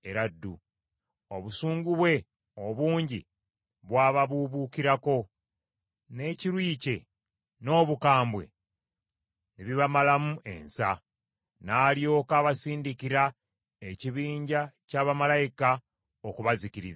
Obusungu bwe obungi bwababuubuukirako, n’ekiruyi kye n’obukambwe ne bibamalamu ensa. N’alyoka abasindikira ekibinja kya bamalayika okubazikiriza.